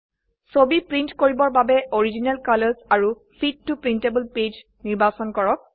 ছবি প্ৰীন্ট কৰিবৰ বাবে অৰিজিনেল কালাৰ্ছ আৰু ফিট ত প্ৰিণ্টেবল পেজ নিৰ্বাচন কৰক